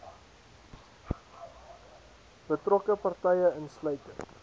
betrokke partye insluitend